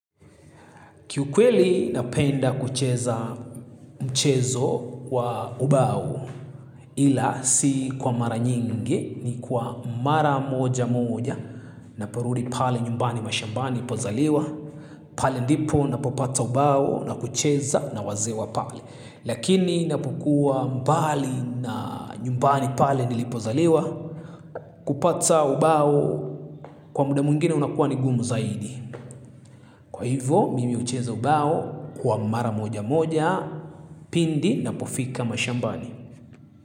Kiukweli napenda kucheza mchezo wa ubao ila si kwa mara nyingi ni kwa mara moja moja naporudi pale nyumbani mashambani nipozaliwa. Pale ndipo napopata ubao na kucheza na wazee wa pale. Lakini napokuwa mbali na nyumbani pale nilipozaliwa kupata ubao kwa muda mwingine unakuwa ni ngumu zaidi. Kwa hivo mimi hucheza ubao kwa mara moja moja pindi napofika mashambani.